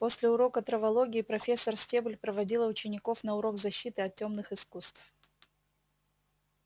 после урока травологии профессор стебль проводила учеников на урок защиты от тёмных искусств